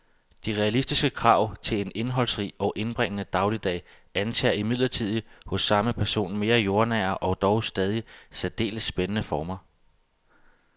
De realistiske krav til en indholdsrig og indbringende dagligdag antager imidlertid hos samme person mere jordnære og dog stadig særdeles spændende former.